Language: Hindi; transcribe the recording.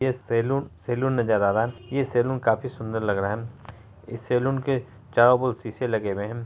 ये सैलून सैलून नजर आ रहा है ये सैलून काफी अच्छा सुंदर लग रहा है इस सैलून के चारो ओर सीसे लगे हुए हैं।